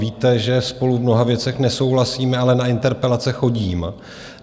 Víte, že spolu v mnoha věcech nesouhlasíme, ale na interpelace chodím.